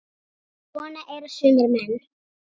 En svona eru sumir menn.